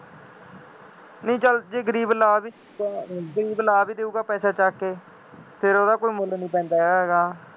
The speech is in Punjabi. ਨਹੀਂ ਚੱਲ ਜੇ ਗਰੀਬ ਲਾ ਵੀ ਦੇਊਗਾ, ਗਰੀਬ ਲਾ ਵੀ ਦੇਊਗਾ ਪੈਸਾ ਚੱਕ ਕੇ, ਫੇਰ ਉਹਦਾ ਕੋਈ ਮੁੱਲ ਨਹੀਂ ਪੈਂਦਾ ਹੈਗਾ